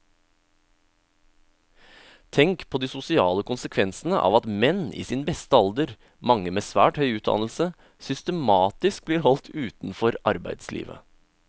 Tenk på de sosiale konsekvensene av at menn i sin beste alder, mange med svært høy utdannelse, systematisk blir holdt utenfor arbeidslivet.